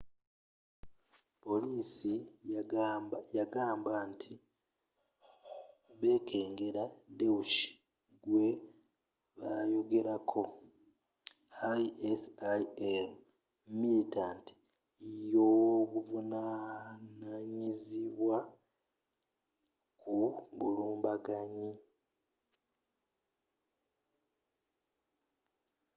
polisi yagamba nti bekengera daesh gwe bayogerako isil militant y'obuvunanyizibwa ku bulumbaganyi